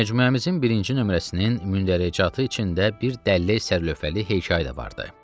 Məcmuəmizin birinci nömrəsinin mündəricatı içində bir dəllək sər lövhəli hekayə də vardı.